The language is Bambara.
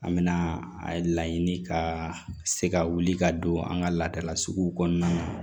An bɛna a laɲini ka se ka wuli ka don an ka laadala suguw kɔnɔna na